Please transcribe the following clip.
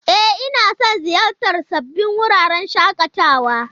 E, ina son ziyartar sabbin wuraren shakatawa.